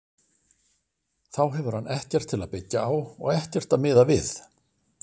Þá hefur hann ekkert til að byggja á og ekkert að miða við.